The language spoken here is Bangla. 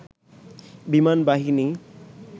বিমান বাহিনী